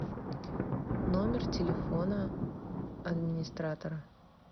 номер телефона администратора